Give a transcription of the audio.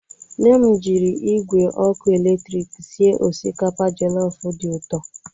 Nne m jiri igwe ọkụ eletrik sie osikapa jọlọfụ dị ụtọ.